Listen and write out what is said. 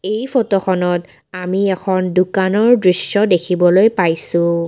এই ফটোখনত আমি এখন দোকানৰ দৃশ্য দেখিবলৈ পাইছোঁ।